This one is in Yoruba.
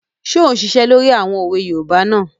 Ṣé ò ún ṣiṣẹ́ lórí àwọn òwe yoòbá náà?